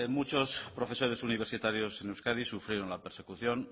muchos profesores universitarios en euskadi sufrieron la persecución